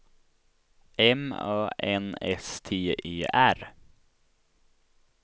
M Ö N S T E R